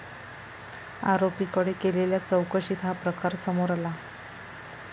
आरोपींकडे केलेल्या चौकशीत हा प्रकार समोर आला.